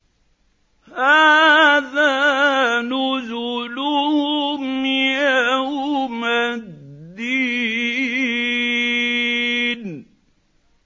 هَٰذَا نُزُلُهُمْ يَوْمَ الدِّينِ